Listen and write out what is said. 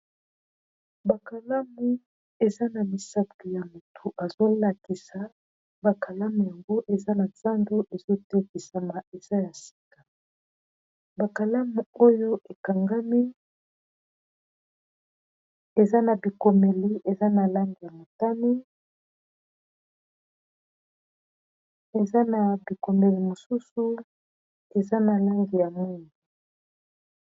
Bakalamu eza na misapi ya motu ezolakisa bakalamu yango eza na zando. Ezotekisama eza ya sika bakalamu oyo ekangami eza na bikomeli eza na lange ya motani eza na bikomeli mosusu eza na langi ya mwingi.